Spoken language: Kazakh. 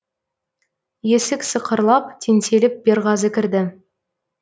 есік сықырлап теңселіп берғазы кірді